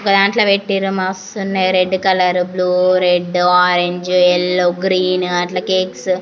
దాంట్లో పెట్టు ఉన్నారు మస్తు ఉన్నాయి red colour blue red orange yellow green అట్లా కేక్స్ .